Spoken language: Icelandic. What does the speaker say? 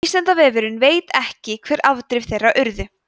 vísindavefurinn veit ekki hver afdrif þeirra urðu